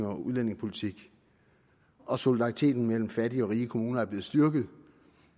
og udlændingepolitik og solidariteten mellem fattige og rige kommuner er blevet styrket